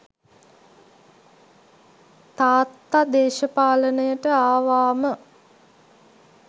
තාත්තා දේශපාලනයට ආවාම